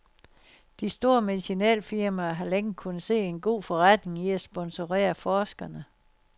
De store medicinalfirmaer har længe kunnet se en god forretning i at sponsorere forskerne.